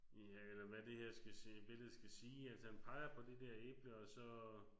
Ja eller hvad det her skal billede skal sige altså han peger på det der æble og så